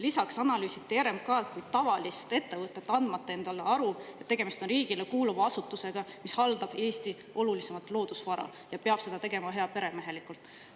Lisaks analüüsiti RMK‑d nagu tavalist ettevõtet, andmata endale aru, et tegemist on riigile kuuluva asutusega, mis haldab Eesti olulisimat loodusvara ja peab seda tegema heaperemehelikult.